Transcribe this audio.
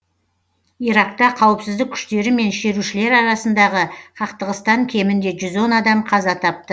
иракта қауіпсіздік күштері мен шерушілер арасындағы қақтығыстан кемінде жүз он адам қаза тапты